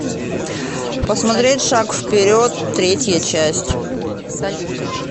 посмотреть шаг вперед третья часть